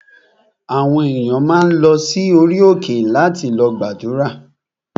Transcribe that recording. Àwọn ènìyàn máa ń lọ sí orí òkè láti lọ gbàdúrà